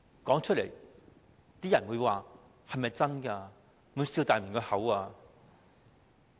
說出來，大家都會問這是否真的？